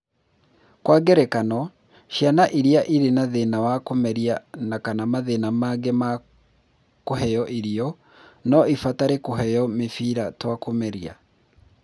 Kwa ngerekano, ciana iria irĩ na thĩna wa kũmeria na/kana mathĩna mangĩ ma kũheo irio no ibatare kũheo mĩbĩra twa kũmeria.